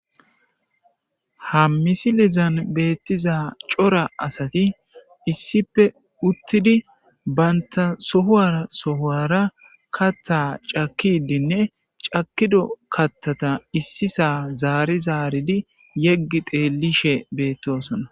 Ha misi lizan beettiza cora asati issipe uttidi baynta sohuwara sohuwara kattha cakkidinne cakido kattata issisaa zaari zaaridi yeggi teelishe beettosona